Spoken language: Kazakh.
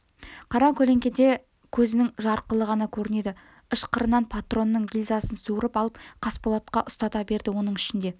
қара көлеңкеде көзінің жарқылы ғана көрінеді ышқырынан патронның гильзасын суырып алып қасболатқа ұстата берді оның ішінде